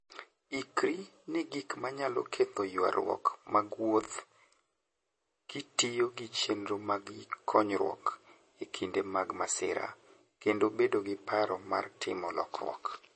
Ikri ne gik manyalo ketho ywaruok mag wuoth kitiyo gi chenro mag konyruok e kinde mag masira, kendo bedo gi paro mar timo lokruok.